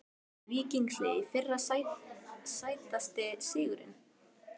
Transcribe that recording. Víkings liðið í fyrra Sætasti sigurinn?